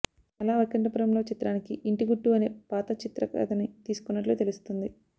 అలా వైకుంఠపురం లో చిత్రానికి ఇంటిగుట్టు అనే పాత చిత్ర కథ ని తీసుకున్నట్లు తెలుస్తుంది